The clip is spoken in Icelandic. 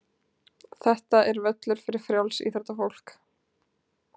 Þetta er völlur fyrir frjálsíþróttafólk.